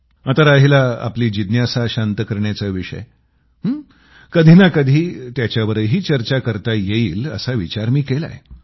आता राहिला आपली जिज्ञासा शांत करण्याचा विषय कधी ना कधी त्याच्यावरही चर्चा करता येईल असा विचार मी केलाय